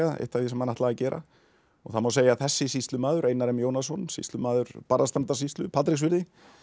eitt af því sem hann ætlaði að gera það má segja að þessi sýslumaður Einar m Jónasson sýslumaður Barðastrandarsýslu Patreksfirði